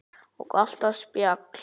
Og alltaf spjall.